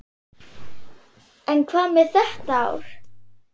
En hvað með þetta ár?